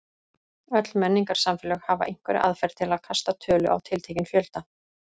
Öll menningarsamfélög hafa einhverja aðferð til að kasta tölu á tiltekinn fjölda.